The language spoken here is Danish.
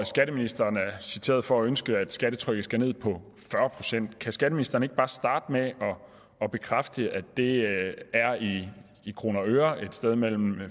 skatteministeren er citeret for at ønske at skattetrykket skal ned på fyrre procent kan skatteministeren ikke bare starte med at bekræfte at det i kroner og øre er et sted mellem